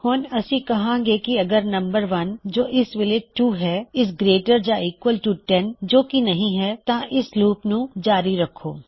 ਹੁਣ ਅਸੀਂ ਕਹਾਂਗੇ ਕਿ ਅਗਰ ਨੰਬਰ ਜੋ ਇਸ ਵੋਲ਼ੇ 2 ਹੈ - ਇਜ਼ ਗਰੇਟਰ ਯਾ ਈਕਵਲ ਟੂ 10 ਜੋ ਕੀ ਨਹੀ ਹੈ ਤਾਂ ਇਸ ਲੁਪ ਨੂੰ ਜਾਰੀ ਰੱਖੋ